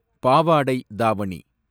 பாவாடை தாவணி